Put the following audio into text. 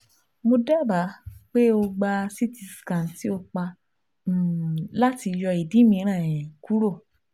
Mo daba pe o gba CT scan ti ọpa um lati yọ idi miiran um kuro